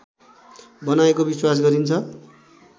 बनाएको विश्वास गरिन्छ